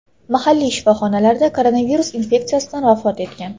mahalliy shifoxonalarda koronavirus infeksiyasidan vafot etgan.